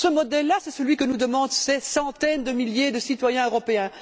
Ce modèle là, c'est celui que nous demandent ces centaines de milliers de citoyens européens.